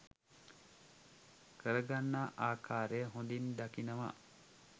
කරගන්නා ආකාරය හොඳින් දකිනවා.